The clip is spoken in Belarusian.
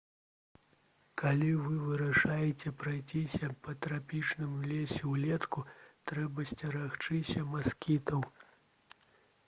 калі вы вырашыце прайсціся па трапічным лесе ўлетку трэба сцерагчыся маскітаў